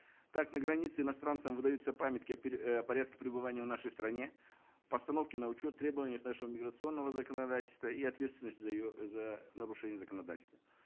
так на границе иностранцам выдаются памятки о о порядке пребывания в нашей стране постановки на учет требованиях нашего миграционного законодательства и ответственность за ее за нарушение законодательства